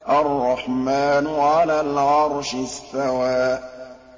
الرَّحْمَٰنُ عَلَى الْعَرْشِ اسْتَوَىٰ